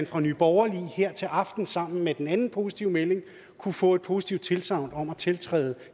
fra nye borgerlige her til aften sammen med den anden positive melding kunne få et positivt tilsagn om at tiltræde